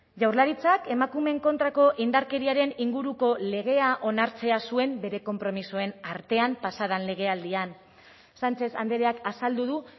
jaurlaritzak emakumeen kontrako indarkeriaren inguruko legea onartzea zuen bere konpromisoen artean pasa den legealdian sánchez andreak azaldu du